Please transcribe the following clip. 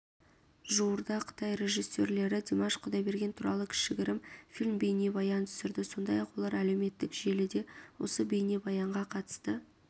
жуырда қытай режиссерлері димаш құдайберген туралы кішігірім фильм-бейнебаян түсірді сондай-ақ олар әлеуметтік желіде осы бейнебаянға қатысты